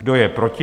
Kdo je proti?